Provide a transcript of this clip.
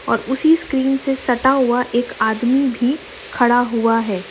और उसी स्क्रीन से सटा हुवा एक आदमी भी खड़ा हुवा है।